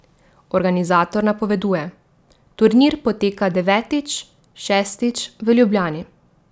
Organizator napoveduje: 'Turnir poteka devetič, šestič v Ljubljani.